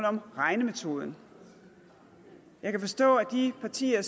om regnemetoden jeg kan forstå at de partier